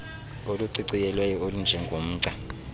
oluciciyelweyo olunje ngomgca